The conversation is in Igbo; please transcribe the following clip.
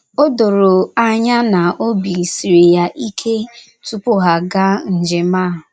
O doro anya na obi siri ya ike tupu ya agáá njem a.